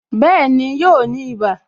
Bẹẹni, yóò ní ibà